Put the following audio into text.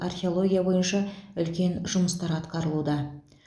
археология бойынша үлкен жұмыстар атқарылуда